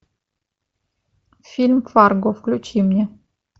фильм фарго включи мне